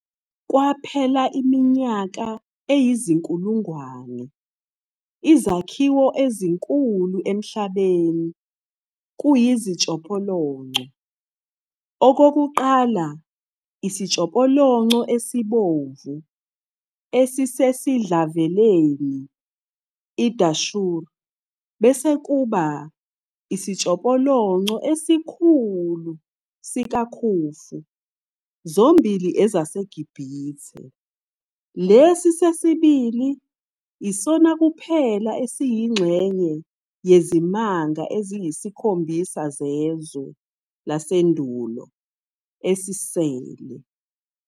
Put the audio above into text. Kwaphela iminyaka eyinkulungwane, izakhiwo ezinkulu emhlabeni kuyizitshopolonco-okokuqala Isitshopolonco esibomvu esisedlaveleni i-Dashur bese kuba Isitshopolonco esikhulu sika-Khufu, zombili eziseGibithe-lesi sesbili isona kuphela esiyingxenye Yezimanga eziyisiKhombisa zeZwe laseNdulo esele.